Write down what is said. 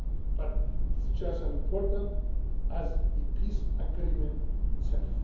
part. But it is just as important as the peace agreement